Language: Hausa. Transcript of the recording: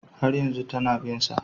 Har yanzu tana bin sa